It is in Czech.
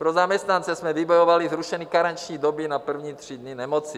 Pro zaměstnance jsme vybojovali zrušení karenční doby na první tři dny nemoci.